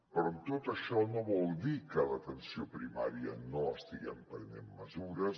però tot això no vol dir que a l’atenció primària no estiguem prenent mesures